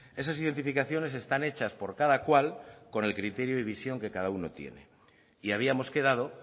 esas identificaciones están hechas por cada cual con el criterio y visión que cada uno tiene y habíamos quedado